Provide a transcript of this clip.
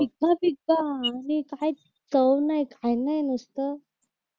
फिका फिका आहे काय चव नाय काय नाय नुसतं